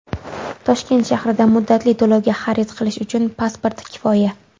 Toshkent shahrida muddatli to‘lovga xarid qilish uchun pasport kifoya.